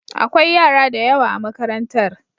Akwai yara da yawa a makarantar.